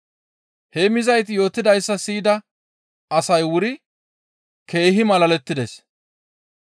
Heemmizayti yootidayssa siyida asay wuri keehi malalettides.